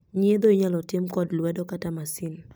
Nyiedho inyal tim kod lwedo kata masin